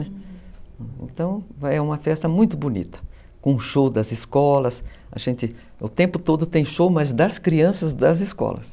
Então, é uma festa muito bonita, com show das escolas, o tempo todo tem show, mas das crianças das escolas.